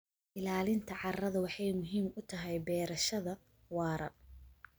Ilaalinta carrada waxay muhiim u tahay beerashada waara.